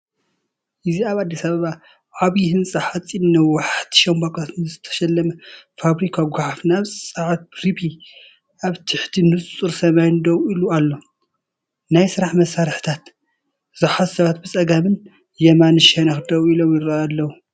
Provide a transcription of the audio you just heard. እዚ ኣብ ኣዲስ ኣበባ ብዓቢ ህንጻ ሓጺንን ነዋሕቲ ሻምብቆታትን ዝተሰለመ ፋብሪካ ጎሓፍ ናብ ጸዓት ረፒ ኣብ ትሕቲ ንጹር ሰማይ ደው ኢሉ ኣሎ። ናይ ስራሕ መሳርሒታት ዝሓዙ ሰባት ብጸጋማይን የማናይን ሸነኽ ደው ኢሎም ይራኣይ ኣለው።